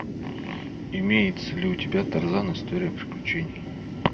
имеется ли у тебя тарзан история приключений